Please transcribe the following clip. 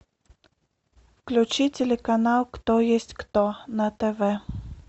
включи телеканал кто есть кто на тв